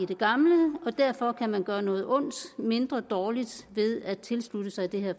den gamle og derfor kan man gøre noget ondt mindre ved at tilslutte sig det her